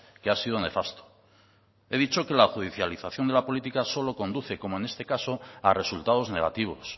que ha sido nefasto he dicho que la judicialización de la política solo conduce como en este caso a resultados negativos